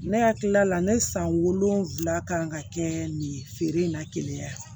Ne hakili la ne san wolonfila kan ka kɛ nin feere in na keleya